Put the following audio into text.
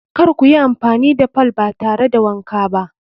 Kar kuyi amfani da fool ba tare da wanka ba.